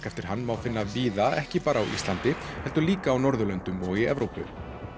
eftir hann má finna víða ekki bara á Íslandi heldur líka á Norðurlöndum og í Evrópu